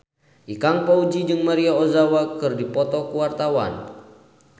Ikang Fawzi jeung Maria Ozawa keur dipoto ku wartawan